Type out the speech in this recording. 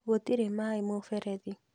Gũtirĩ maĩ mũberethi